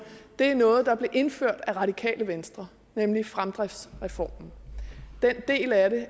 er noget der blev indført af radikale venstre nemlig fremdriftsreformen den del af det